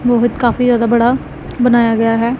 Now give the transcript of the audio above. मोहित काफी ज्यादा बड़ा बनाया गया हैं।